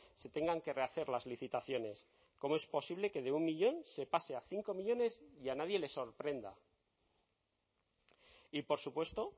se tengan que rehacer las licitaciones cómo es posible que de un millón se pase a cinco millónes y a nadie le sorprenda y por supuesto